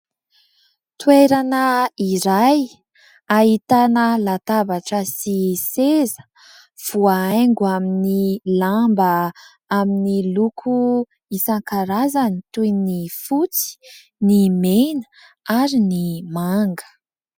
Toerana iray, ahitana labatra sy seza voahaingo amin'ny lamba, amin'ny loko maro isankarazany toy ny : fotsy, mena, ary ny manga.